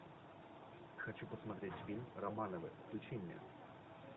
хочу посмотреть фильм романовы включи мне